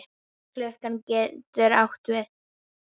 Klúka getur átt við